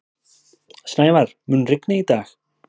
Snævar, mun rigna í dag?